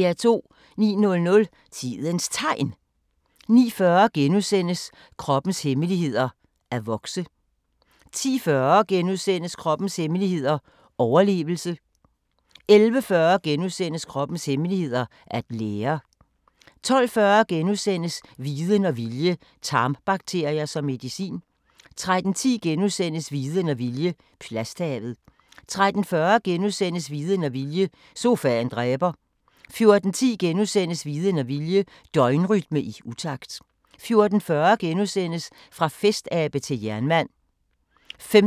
09:00: Tidens Tegn 09:40: Kroppens hemmeligheder: At vokse * 10:40: Kroppens hemmeligheder: Overlevelse * 11:40: Kroppens hemmeligheder: At lære * 12:40: Viden og vilje – tarmbakterier som medicin * 13:10: Viden og vilje – plasthavet * 13:40: Viden og vilje – sofaen dræber * 14:10: Viden og vilje – døgnrytme i utakt * 14:40: Fra festabe til jernmand *